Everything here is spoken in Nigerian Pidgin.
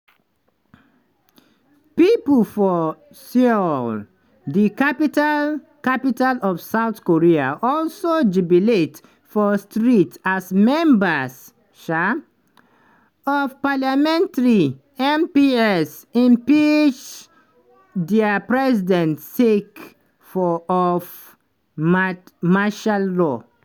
pipo for seoul di capital capital of south korea also jubilate for streets as members um of parliament (mps) impeach dia president sake of martial law.